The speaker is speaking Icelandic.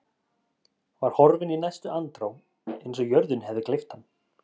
Var horfinn í næstu andrá eins og jörðin hefði gleypt hann.